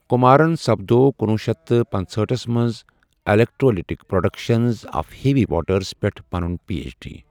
کُمارن سپدوو کُنوُہ شیٚتھ تہٕ پنژہأٹھس منٛز 'electrolytic production of heavy waters' پٮ۪ٹھ پنُن پی اٮ۪چ ڈی۔